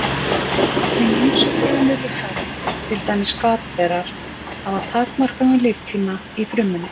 Hin ýmsu frumulíffæri, til dæmis hvatberar, hafa takmarkaðan líftíma í frumunni.